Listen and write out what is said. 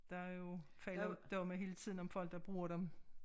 Der jo faldet domme hele tiden om folk der bruger dem